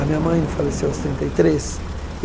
A minha mãe não faleceu aos trinta e três?